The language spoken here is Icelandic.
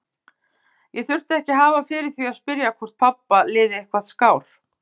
Ég þurfti ekki að hafa fyrir því að spyrja hvort pabba liði eitthvað skár.